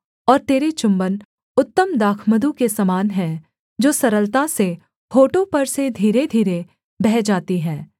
और तेरे चुम्बन उत्तम दाखमधु के समान हैं जो सरलता से होठों पर से धीरे धीरे बह जाती है